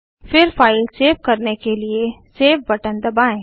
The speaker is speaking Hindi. फिर फाइल सेव करने के लिए सेव बटन दबाएँ